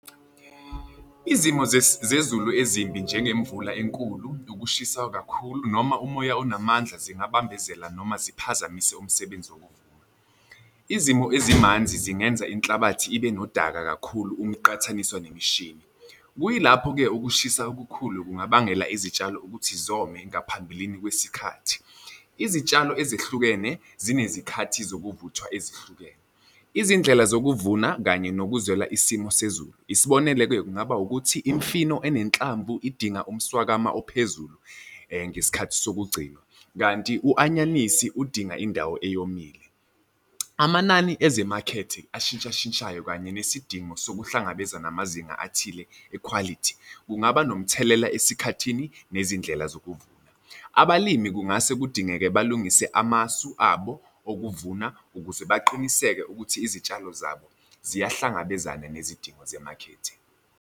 Izimo zezulu ezimbi njengemvula enkulu ukushisa kakhulu noma umoya onamandla, zingabambezela noma ziphazamise umsebenzi wokuvuna. Izimo ezimanzi zingenza inhlabathi ibe nodaka kakhulu uma iqathaniswa nemishini. Kuyilapho-ke ukushisa okukhulu kungabangela izitshalo ukuthi zome ngaphambilini kwesikhathi. Izitshalo ezehlukene zinezikhathi zokuvuthwa ezihlukene. Izindlela zokuvuna kanye nokuzwela isimo sezulu, isibonelo-ke kungaba ukuthi imfino enenhlamvu idinga umswakama ophezulu ngesikhathi sokugcinwa, kanti u-anyanisi udinga indawo eyomile. Amanani ezimakhethe ashintshashintshayo kanye nesidingo sokuhlangabeza namazinga athile ekhwalithi, kungaba nomthelela esikhathini nezindlela zokuvuna. Abalimi kungase kudingeke balungise amasu abo obuvuna ukuze baqiniseke ukuthi izitshalo zabo ziyahlangabezana nezidingo zemakhethe.